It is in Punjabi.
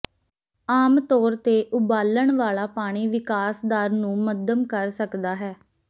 ਆਮ ਤੌਰ ਤੇ ਉਬਾਲਣ ਵਾਲਾ ਪਾਣੀ ਵਿਕਾਸ ਦਰ ਨੂੰ ਮੱਧਮ ਕਰ ਸਕਦਾ ਹੈ